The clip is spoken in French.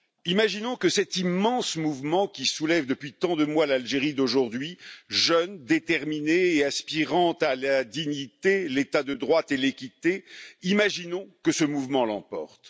Imaginons que cet immense mouvement qui soulève depuis tant de mois l'Algérie d'aujourd'hui, jeune, déterminée et aspirant à la dignité, à l'état de droit et à l'équité, imaginons que ce mouvement l'emporte.